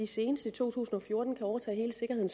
senest i to tusind og fjorten kan overtage hele sikkerheden